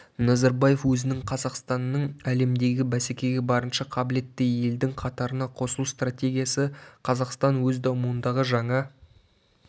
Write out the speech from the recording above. назарбаев өзінің қазақстанның әлемдегі бәсекеге барынша қабілетті елдің қатарына қосылу стратегиясы қазақстан өз дамуындағы жаңа